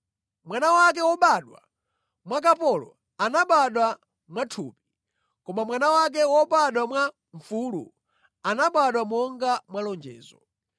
Mwana wake wobadwa mwa kapolo anabadwa mwathupi; koma mwana wake wobadwa mwa mfulu anabadwa monga mwa lonjezo.